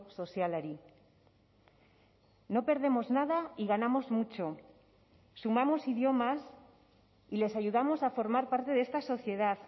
sozialari no perdemos nada y ganamos mucho sumamos idiomas y les ayudamos a formar parte de esta sociedad